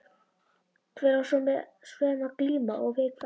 Hver á svo sem að glíma. og við hvern?